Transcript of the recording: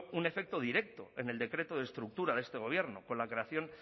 un efecto directo en el decreto de estructura de este gobierno con la creación